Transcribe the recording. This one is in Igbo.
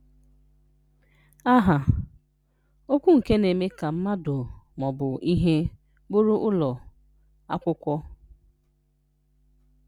Aha: Okwu nke na-eme ka mmadu ma ọ bụ ihe bụrụ ụlọ, akwụkwọ.